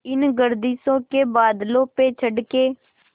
इन गर्दिशों के बादलों पे चढ़ के